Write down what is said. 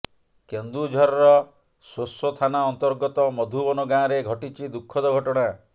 କେନ୍ଦୁଝରର ସୋସୋ ଥାନା ଅନ୍ତର୍ଗତ ମଧୁବନ ଗାଁରେ ଘଟିଛି ଦୁଃଖଦ ଘଟଣା